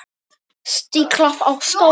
Stiklað á stóru